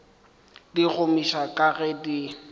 di gomiša ga ke di